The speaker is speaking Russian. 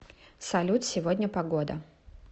салют сегодня погода